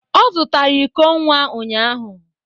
Ọ zụtara iko nwa ụnyahụ